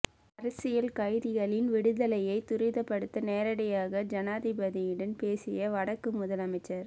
அரசியல் கைதிகளின் விடுதலையை துரிதப்படுத்த நேரடியாக ஜனாதிபதியுடன் பேசிய வடக்கு முதலமைச்சர்